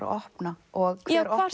að opna og